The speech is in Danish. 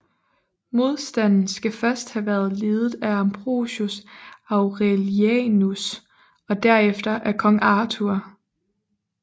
Modstanden skal først have været ledet af Ambrosius Aurelianus og derefter af kong Arthur